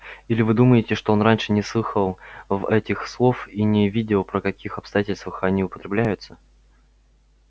или вы думаете что он раньше не слыхал в этих слов и не видел при каких обстоятельствах они употребляются